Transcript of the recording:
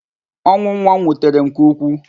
Ọnwụ nwa m wutere m nke ukwu.